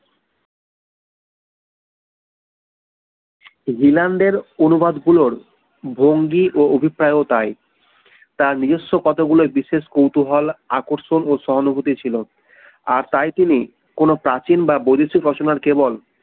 জিলানদের অনুবাদ গুলোর ভঙ্গি ও অভিপ্রায় ও তাই তার নিজস্ব কতগুলো বিশেষ কৌতূহল আকর্ষণ ও সহানূভূতি ছিল আর তাই তিনি কোনো প্রাচীন বা বৈদেশিক রচনার কেবল